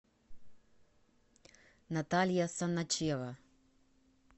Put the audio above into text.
наталья саначева